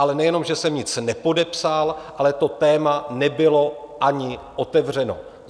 Ale nejenom že jsem nic nepodepsal, ale to téma nebylo ani otevřeno.